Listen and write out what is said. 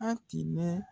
An tun bɛ